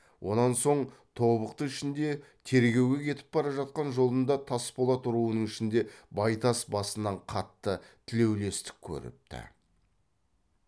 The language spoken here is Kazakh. онан соң тобықты ішінде тергеуге кетіп бара жатқан жолында тасболат руының ішінде байтас басынан қатты тілеулестік көріпті